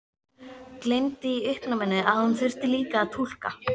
Gleymdi í uppnáminu að hún þurfti líka að túlka.